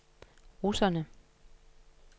russerne